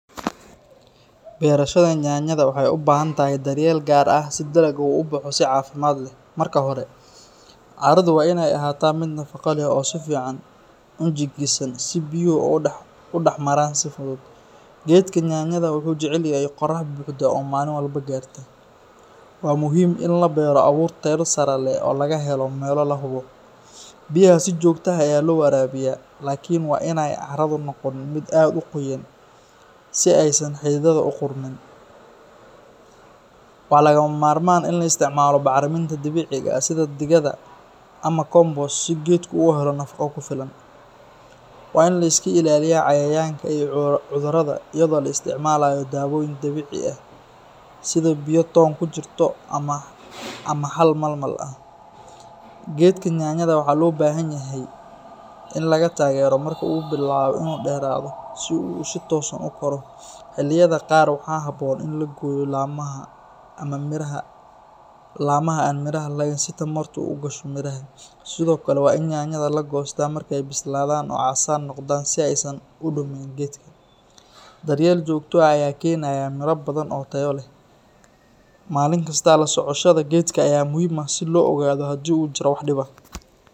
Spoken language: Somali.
Beerashada yaanyada waxay u baahan tahay daryeel gaar ah si dalagu u baxo si caafimaad leh. Marka hore, carradu waa inay ahaataa mid nafaqo leh oo si fiican u jiingisan si biyuhu uga dhex-maraan si fudud. Geedka yaanyada wuxuu jecel yahay qorax buuxda oo maalin walba gaarta. Waa muhiim in la beero abuur tayo sare leh oo laga helo meelo la hubo. Biyaha si joogto ah ayaa loo waraabiyaa, laakiin waa in aanay carradu noqon mid aad u qoyan si aysan xididdadu u qudhmin. Waa lagama maarmaan in la isticmaalo bacriminta dabiiciga ah sida digada ama compost si geedku u helo nafaqo ku filan. Waa in la iska ilaaliyaa cayayaanka iyo cudurrada iyadoo la isticmaalayo dawooyin dabiici ah sida biyo toon ku jirto ama xal malmal ah. Geedka yaanyada waxaa loo baahan yahay in la taageero marka uu bilaabo inuu dheerado si uu si toosan u koro. Xilliyada qaar waxaa habboon in la gooyo laamaha aan miraha lahayn si tamartu u gasho midhaha. Sidoo kale, waa in yaanyada la goostaa marka ay bislaadaan oo casaan noqdaan si aysan u dumin geedka. Daryeel joogto ah ayaa keenaya miro badan oo tayo leh. Maalin kasta la socoshada geedka ayaa muhiim ah si loo ogaado haddii uu jiro wax dhib ah.